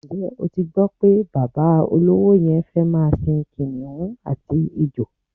Ǹjé̩ o ti gbó̩ pé bàbá olówo ye̩n fé̩ máa sin kìnìún àti ejò?